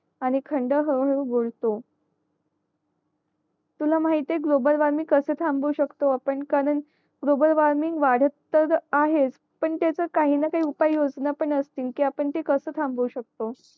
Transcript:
आणि खंड हळू हळू तुला माहिए गोलबल वॉर्मिंग कस थम्बवु शकतो आपण कारण ग्लोबल वार्मिंग वादात तर आहेच पण त्याचा काहींना काही उपायोजना पण असतील कि आपण ते कस थमबवू शकतो